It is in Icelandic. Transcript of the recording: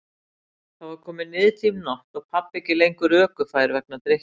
Þá var komin niðdimm nótt og pabbi ekki lengur ökufær vegna drykkju.